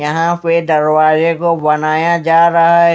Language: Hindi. यहा पें दरवाजे को बनाया जा रहा है।